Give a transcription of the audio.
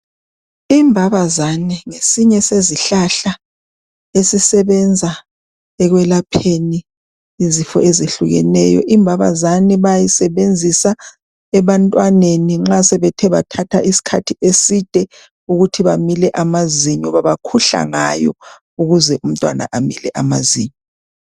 Imbabazane ngesinye sezihlahla esisebenza ekwelapheni izifo ezehlukeneyo. Imbabazane bayisebenzisa ebantwaneni nxa sebethe bathatha isikhathi eside ukuthi bamile amazinyo. Babakhuhla ngayo ukuze umntwana amile amazinyo.